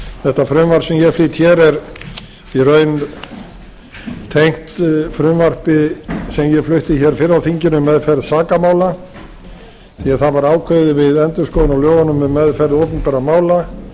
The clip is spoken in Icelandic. þetta frumvarp sem ég flyt hér er í raun tengt frumvarpi sem ég flutti hér fyrr á þinginu um meðferð sakamála því það var ákveðið við endurskoðun á lögunum um meðferð opinberra mála